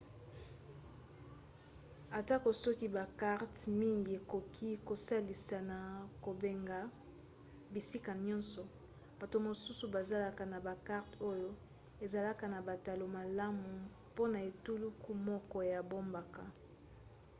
atako soki bakarte mingi ekoki kosalisa na kobenga bisika nyonso bato mosusu bazalaka na bakarte oyo ezalaka na batalo malamu mpona etuluku moko ya bamboka